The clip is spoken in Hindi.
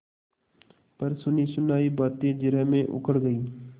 पर सुनीसुनायी बातें जिरह में उखड़ गयीं